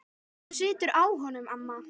Þú situr á honum, amma!